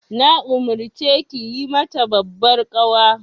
Na umarce ki yi mata babbar ƙawa.